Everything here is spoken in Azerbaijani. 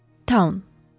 Taun.